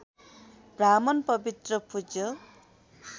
ब्राह्मण पवित्र र पूज्य